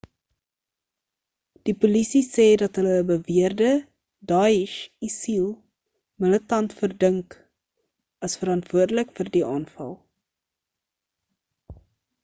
die polisie sê dat hulle ‘n beweerde daesh isil militant verdink as verantwoordelik vir die aanval